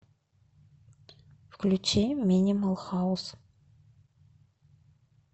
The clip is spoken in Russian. включи минимал хаус